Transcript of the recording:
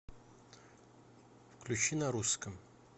включи на русском